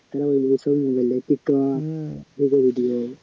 তারা হলো গিয়ে ছবি বলে tiktok